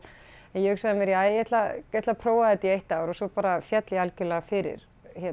en ég hugsaði með mér ja ég ætla að prófa þetta í eitt ár og svo bara féll ég algjörlega fyrir